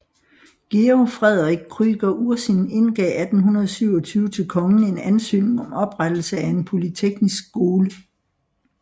Georg Frederik Krüger Ursin indgav 1827 til kongen en ansøgning om oprettelse af en polyteknisk skole